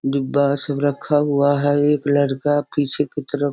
डिब्बा सब रखा हुआ है एक लड़का पीछे की तरफ --